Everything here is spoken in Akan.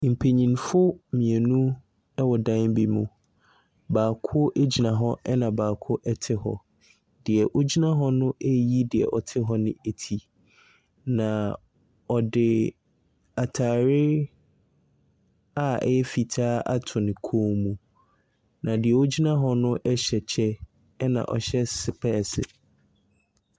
Mpanimfo ɛwɔ ɛdan bi mu, baako ɛte hɔ na baako agyina hɔ. Deɛ ɔgyina hɔ no ɛreyi deɛ ɔte hɔ no ati. Na ɔde atare a ɛyɛ fitaa ato ne kɔn mu. Na deɛ ɔgyina hɔ no ɛhyɛ kyɛ na ɔhyɛ sepɛɛse.